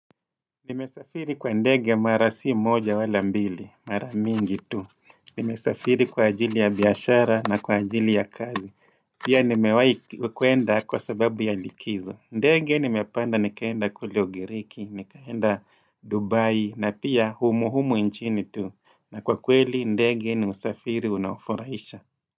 Nimesafiri kwa ndege mara si moja wala mbili, mara mingi tu. Nimesafiri kwa ajili ya biashara na kwa ajili ya kazi. Pia nimewai kwenda kwa sababu ya likizo. Ndege nimepanda nikaenda kule ugiriki, nikaenda Dubai na pia humu humu nchini tu. Na kwa kweli ndege ni usafiri unaofuraisha.